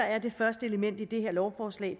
er det første element i det her lovforslag